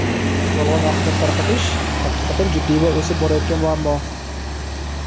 Yolg‘on axborot tarqatish haqiqatan jiddiy va o‘sib borayotgan muammo.